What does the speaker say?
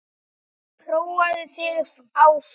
Prófaðu þig áfram!